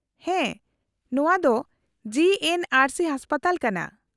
-ᱦᱮᱸ, ᱱᱚᱶᱟ ᱫᱚ ᱡᱤᱹ ᱮᱱᱹ ᱟᱨᱹ ᱥᱤ ᱦᱟᱥᱯᱟᱛᱟᱞ ᱠᱟᱱᱟ ᱾